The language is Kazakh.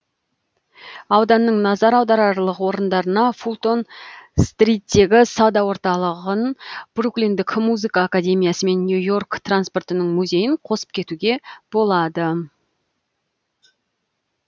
ауданның назар аударарлық орындарына фултон стриттегі сауда орталығын бруклиндік музыка академиясы мен нью йорк транспортының музейін қосып кетуге болады